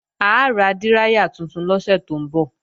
A ra díráyà tuntun lọ́sẹ̀ tó ń bọ̀